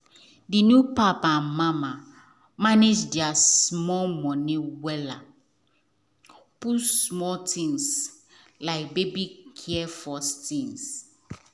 the new papa and mama manage their small money wella put small things like baby care first.